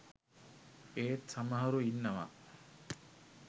ඒත් සමහරු ඉන්නව